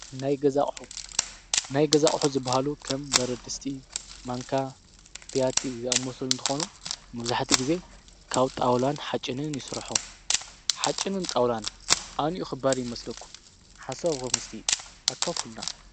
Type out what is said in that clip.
ናይገዛ ኣቅሑ፣ ናይ ገዛ ኣቕሑ ዝበሃሉ ኸም በረድስቲ፣ ማንካ፣ ብያቲ ዝኣመሰሉ እንተኾኑ መብዛሕትኡ ግዜ ካብ ጣውላን ሓፅንን ይስርሑ። ሓፅንን ጣውላን ኣንዩኡ ኽባር ይመስለኩም ሓሳብኩም እስቲ ኣካፉልና?